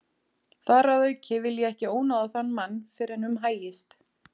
Þar að auki vil ég ekki ónáða þann mann fyrr en um hægist.